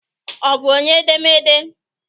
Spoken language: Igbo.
Ọ bụ onye edemede?